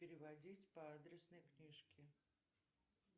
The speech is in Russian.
переводить по адресной книжке